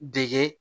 Dege